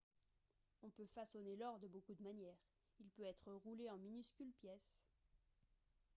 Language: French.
on peut façonner l'or de beaucoup de manières il peut être roulé en minuscules pièces